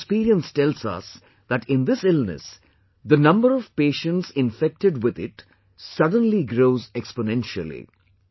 The world's experience tells us that in this illness, the number of patients infected with it suddenly grows exponentially